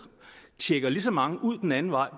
tjekker lige så mange ud den anden vej